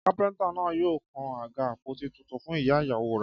Kápẹ́ntà náà yóò kan àga àpótí tuntun fún ìyá ìyàwó rẹ̀